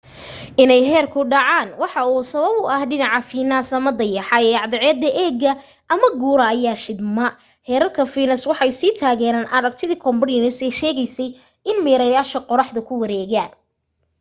inay heerku dhacaan waxa u sabab ah dhinaca fiinas ama dayaxa ee cadceeda eegaya oo qura ayaa shidma. heerarka fiinas waxay sii taageereen aragtidii copernicus ee sheegaysay in meerayaashu qoraxda ku wareegaan